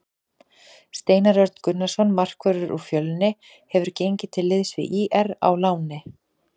Steinar Örn Gunnarsson markvörður úr Fjölni hefur gengið til liðs við ÍR á láni.